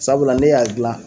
Sabula ne y'a gila